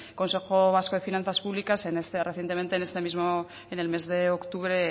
consejo vasco de finanzas públicas recientemente en este mismo en el mes de octubre